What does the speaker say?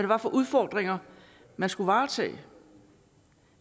var for udfordringer man skulle varetage